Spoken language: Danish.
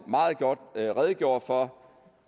meget godt redegjorde for